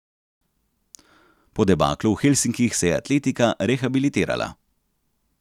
Po debaklu v Helsinkih se je atletika rehabilitirala.